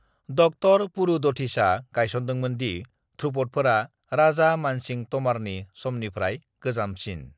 ड. पुरु दधीचआ गायसनदोंमोन दि ध्रुपदफोरा राजा मानसिं तमारनि समनिफ्राय गोजामसिन।